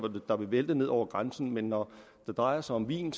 der vil vælte ned over grænsen men når det drejer sig om vin